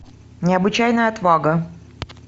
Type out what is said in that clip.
необычайная отвага